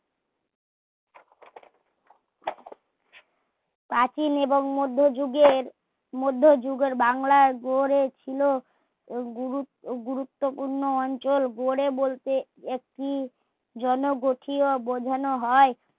প্রাচীন এবং মধ্যে যুগের মধ্যে যুগের বাংলা গড়ে ছিলো গুর গুরুত্বপূর্ণ অঞ্চল গড়ে বলতে একটি জনগঠিত বোঝানো হয়